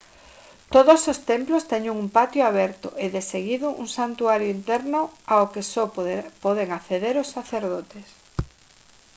todos os templos teñen un patio aberto e de seguido un santuario interno ao que só poden acceder os sacerdotes